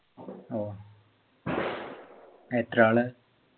ഓ എത്ര ആള്